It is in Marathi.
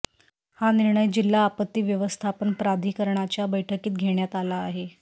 हा निर्णय जिल्हा आपत्ती व्यवस्थापन प्राधिकरणाच्या बैठकीत घेण्यात आला आहे